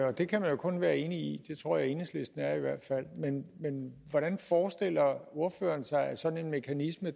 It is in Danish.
og det kan man jo kun være enig i det tror enhedslisten er men hvordan forestiller ordføreren sig at sådan en mekanisme